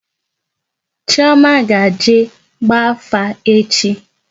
Chioma will go for divination tomorrow